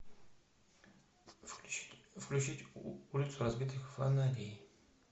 включить улицу разбитых фонарей